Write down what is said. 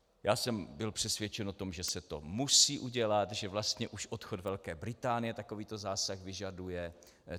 Já jsem byl přesvědčen o tom, že se to musí udělat, že vlastně už odchod Velké Británie takovýto zásah vyžaduje.